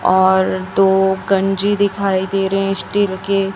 और दो कनजी दिखाई दे रहे हैं स्टील के।